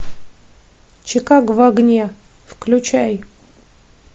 чикаго в огне включай